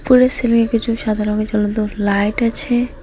ফুলের সিলিংয়ে কিছু সাদা রঙের জ্বলন্ত লাইট আছে।